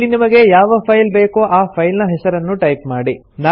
ಇಲ್ಲಿ ನಿಮಗೆ ಯಾವ ಫೈಲ್ ಬೇಕೋ ಆ ಫೈಲ್ ನ ಹೆಸರನ್ನು ಟೈಪ್ ಮಾಡಿ